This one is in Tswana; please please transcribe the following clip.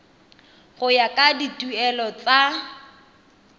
go ya ka dituelo tsa